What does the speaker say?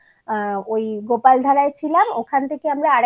গিয়ে থাকিনি আমরা ওই গোপালধারায় ছিলাম ওখান থেকে